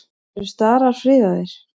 Eru starar friðaðir?